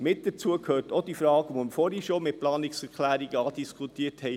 Mit dazu gehört auch die Frage, die wir vorher schon mit den Planungserklärungen andiskutiert haben: